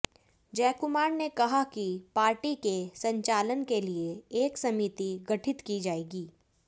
जयकुमार ने कहा कि पार्टी के संचालन के लिए एक समिति गठित की जाएगी